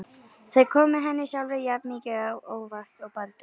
Þau komu henni sjálfri jafn mikið á óvart og Baldri.